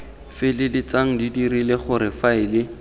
feleltsang di dirile gore faele